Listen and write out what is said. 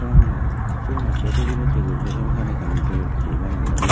sibannoi sigunotte facility guri di sarkare ekkan biret guri baney di.